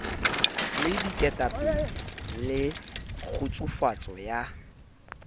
le diketapele le kgutsufatso ya